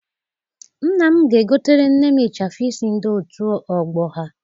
Nna m ga-egotere nne m ịchafụ isi ndị otu ọgbọ ha.